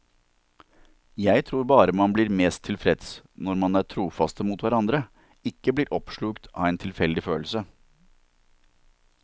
Jeg tror bare man blir mest tilfreds når man er trofaste mot hverandre, ikke blir oppslukt av en tilfeldig følelse.